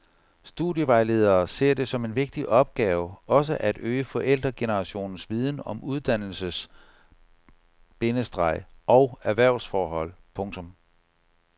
Studievejledere ser det som en vigtig opgave også at øge forældregenerationens viden om uddannelses- bindestreg og erhvervsforhold. punktum